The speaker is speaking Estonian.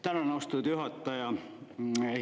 Tänan, austatud juhataja!